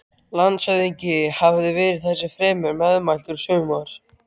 Landshöfðingi hafði verið þessu fremur meðmæltur í sumar.